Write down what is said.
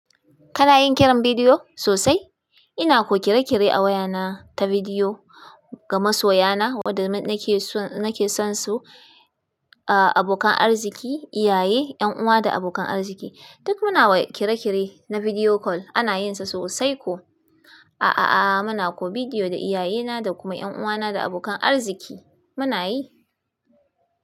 Kana yin kiran bidiyo sosai? Ina ko kire-kire a wayana ta bidiyo ga masoya na, wanda nake son su, abokan arziki, iyaye, ƴan'uwa da abokan arziki. Duk muna kira-kire na bidiyo kol, ana yin sa sosai ko. Ah'ah, muna ko bidiyo da iyaye na da kuma ƴan'uwa na da abokan arziki. Muna yi.